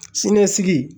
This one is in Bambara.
Siniɲɛsigi